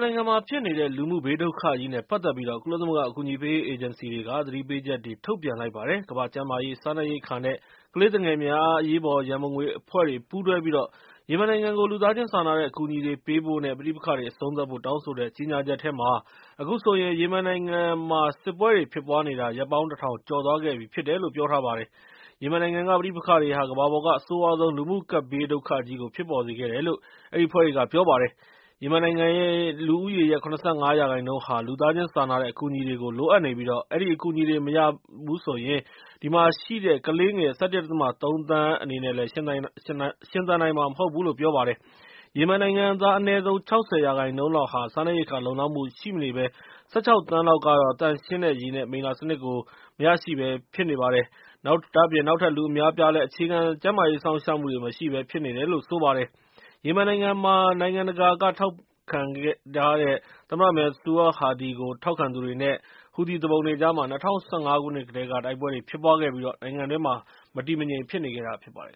နိုင်ငံမှာ ဖြစ်နေတဲ့ လူမှုဘေးဒုက္ခကြီးနဲ့ ပတ်သက်ပြီး ကုလသမဂ္ဂအကူအညီပေးရေး အေဂျင်စီတွေကု သတိပေးချက်ထုတ်ပြန်လိုက်ပါတယ်။ ကမ္ဘာ့ကျန်းမာရေး ၊ စားနပ်ရိက္ခာ နဲ့ ကလေးသူငယ်များအရေးပေါ် ရန်ပုံငွေအဖွဲ့တွေပူးတွဲပြီး ရီမင်နိုင်ငံကို လူသားချင်းစာနာတဲ့အကူအညီတွေပေးဖို့ နဲ့ ပဋိပက္ခတွေအဆုံးသတ်ဖို့ တောင်းဆိုတဲ့ ကြေညာချက်ထဲမှာတော့ အခုဆိုရင် ယီမင်နိုင်ငံမှာ စစ်ပွဲတွေဖြစ်ပွားနေတာဟာ ရက်ပေါင်း ၁ ထောင်ကျော်သွားခဲ့ပြီဖြစ်တယ်လို့ ပြောထားပါတယ်။ ယီမင်နိုင်ငံက ပဋိပက္ခတွေဟာ ကမ္ဘာပေါ်က အဆိုးရွားဆုံး လူမှုကပ်ဘေးဒုက္ခကြီးကို ဖြစ်ပေါ်စေခဲ့တယ်လို့ အဲဒီအဖွဲ့တွေက ပြောပါတယ်။ ယီမင်နိုင်ငံ လူဦးရေရဲ့ ၇၅ ရာခိုင်နှုန်းဟာဟာ လူသားချင်းစာနာတဲ့အကူအညီတွေကိုလိုအပ်နေပြီး၊ အဲဒီအကူအညီတွေမရဘဲနဲ့တော့ ဒီထဲမှာရှိတဲ့ ကလေးငယ် ၁၁.၃ သန်းအနေနဲ့ ရှင်သန်နိုင်မှာမဟုတ်ဘူးလို့ ပြောလိုက်ပါတယ်။ ယီမင်နိုင်ငံသား အနည်းဆုံး ၆၀ ရာခိုင်နှုန်းလောက်ဟာ စားနှပ်ရိက္ခာလုံလောက်မှုရှိမနေဘဲ၊ ၁၆ သန်းလောက်ကတော့ သန့်ရှင်းတဲ့ရေ နဲ့ မိလ္လာစနစ်ကို မရရှိဘဲ ဖြစ်နေပြီး၊ နောက်ထပ်လူအများအပြားကတော့ အခြေခံကျန်းမာရေးစောင့်ရှောက်မှုမရှိဘဲဖြစ်နေတယ်လို့ ဆိုပါတယ်။ ယီမင်နိုင်ငံမှာ နိုင်ငံတကာက ထောက်ခံတဲ့ သမ္မတ Mansour Hadi ကိုထောက်ခံသူတွေ နဲ့ ဟူသီ သူပုန်တွေကြား ၂၀၁၅ ခုနှစ်ကတည်းက တိုက်ပွဲတွေဖြစ်ပွားပြီး ၊ နိုင်ငံတွင်းမှာ မတည်မငြိမ်ဖြစ်နေခဲ့တာဖြစ်ပါတယ်